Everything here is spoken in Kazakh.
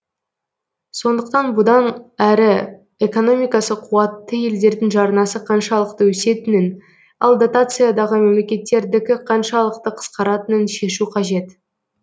сондықтан бұдан әрі экономикасы қуатты елдердің жарнасы қаншалықты өсетінін ал дотациядағы мемлекеттердікі қаншалықты қысқаратынын шешу қажет